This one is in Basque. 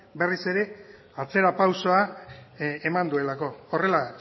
berriz ere atzerapausoa eman duelako horrela